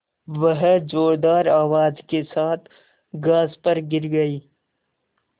वह ज़ोरदार आवाज़ के साथ घास पर गिर गई